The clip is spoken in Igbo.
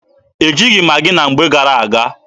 E jighị Maghị na mgbe gara-aga.